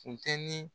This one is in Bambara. Funteni